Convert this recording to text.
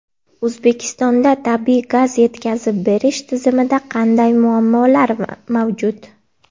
O‘zbekistonda tabiiy gaz yetkazib berish tizimida qanday muammolar mavjud?.